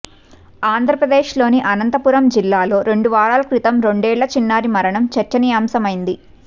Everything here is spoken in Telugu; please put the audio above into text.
ఆంధ్రప్రదేశ్లోని అనంతపురం జిల్లాలో రెండు వారాల క్రితం రెండేళ్ల చిన్నారి మరణం చర్చనీయమైంది